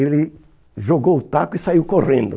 Ele jogou o taco e saiu correndo.